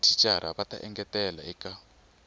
mathicara va ta engetela eka